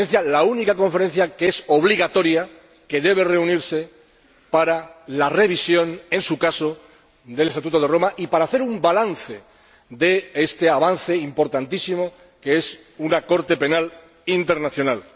la única Conferencia obligatoria que debe reunirse para la revisión, en su caso, del Estatuto de Roma y para hacer un balance de este avance importantísimo que es una Corte Penal Internacional.